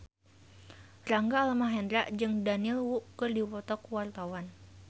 Rangga Almahendra jeung Daniel Wu keur dipoto ku wartawan